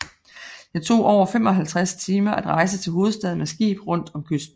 Det tog omkring 55 timer at rejse til hovedstaden med skib rundt om kysten